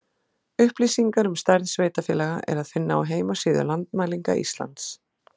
Upplýsingar um stærð sveitarfélaga er að finna á heimasíðu Landmælinga Íslands.